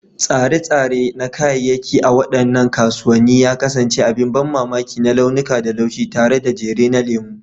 Tsare-tsare na kayayyaki a waɗannan kasuwanni ya kasance abin ban mamaki na launuka da laushi, tare da jere na lemu.